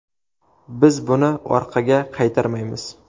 Biz buni orqaga qaytarmaymiz.